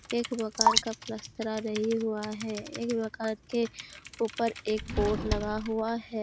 एक मकान का प्लास्टरा नही हुआ है एक मकान के ऊपर एक बोर्ड लगा हुआ है।